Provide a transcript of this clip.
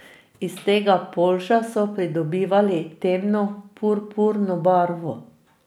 Iz tega polža so pridobivali temno purpurno barvo.